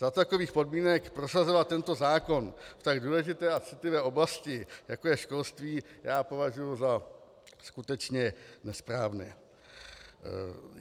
Za takových podmínek prosazovat tento zákon v tak důležité a citlivé oblasti, jako je školství, já považuji za skutečně nesprávné.